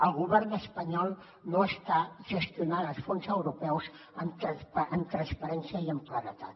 el govern espanyol no està gestionant els fons europeus amb transparència i amb claredat